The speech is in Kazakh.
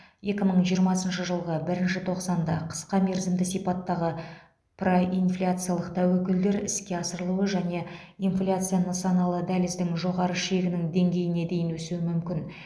екі мың жиырмасыншы жылғы бірінші тоқсанда қысқа мерзімді сипаттағы проинфляциялық тәуекелдер іске асырылуы және инфляция нысаналы дәліздің жоғары шегінің деңгейіне дейін өсуі мүмкін